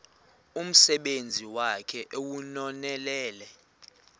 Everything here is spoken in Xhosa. umsebenzi wakhe ewunonelele